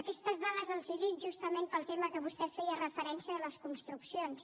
aquestes dades els les dic justament pel tema a què vostè feia referència de les construccions